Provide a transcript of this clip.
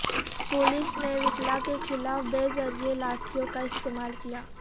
police نے وکلاء کے خلاف بے دریغ لاٹھیوں کا استعمال کیا